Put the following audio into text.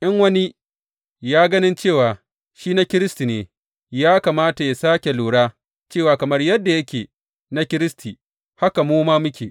In wani ya ganin cewa shi na Kiristi ne, ya kamata yă sāke lura cewa kamar yadda yake na Kiristi, haka mu ma muke.